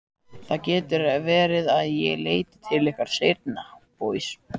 Það getur verið að ég leiti til ykkar seinna.